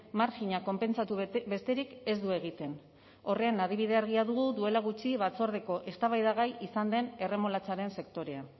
marjina konpentsatu besterik ez du egiten horren adibide argia dugu duela gutxi batzordeko eztabaidagai izan den erremolatxaren sektorea